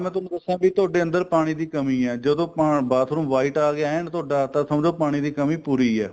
ਮੈਂ ਤੁਹਾਨੂੰ ਦੱਸਾਂ ਕੀ ਤੁਹਾਡੇ ਅੰਦਰ ਪਾਣੀ ਦੀ ਕੰਮੀ ਏ ਜਦੋਂ ਆਪਾਂ bathroom white ਆ ਗਿਆ ਐਨ ਤੁਹਾਡਾ ਤਾਂ ਸਮਜੋ ਤੁਹਾਡੀ ਪਾਣੀ ਦੀ ਕੰਮੀ ਪੂਰੀ ਏ